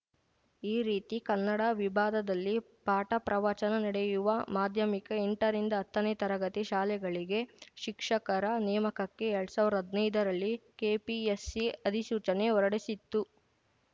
ಈ ರೀತಿ ಕನ್ನಡ ವಿಭಾದದಲ್ಲಿ ಪಾಠಪ್ರವಚನ ನಡೆಯುವ ಮಾಧ್ಯಮಿಕಎಂಟರಿಂದ ಹತ್ತನೇ ತರಗತಿ ಶಾಲೆಗಳಿಗೆ ಶಿಕ್ಷಕರ ನೇಮಕಕ್ಕೆ ಎರಡ್ ಸಾವಿರ್ದಾ ಹದ್ನೈದರಲ್ಲಿ ಕೆಪಿಎಸ್‌ಸಿ ಅಧಿಸೂಚನೆ ಹೊರಡಿಸಿತ್ತು